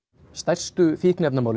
stærstu fíkniefnamálin